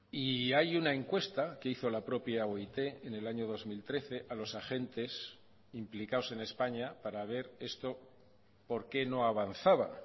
y hay una encuesta que hizo la propia oit en el año dos mil trece a los agentes implicados en españa para ver esto por qué no avanzaba